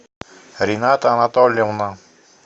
рената анатольевна